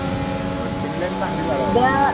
but Finland चांगली जागा